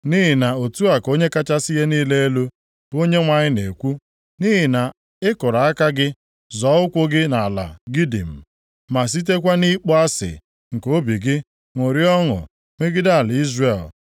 Nʼihi na otu a ka Onye kachasị ihe niile elu, bụ Onyenwe anyị na-ekwu: Nʼihi na ị kụrụ aka gị, zọọ ụkwụ gị nʼala gidim, ma sitekwa nʼịkpọ asị nke obi gị ṅụrịa ọṅụ megide ala Izrel,